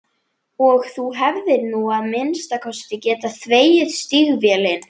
Og þú hefðir nú að minnsta kosti getað þvegið stígvélin.